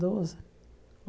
Doze.